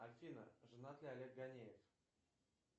афина женат ли олег ганеев